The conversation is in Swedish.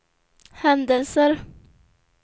händelser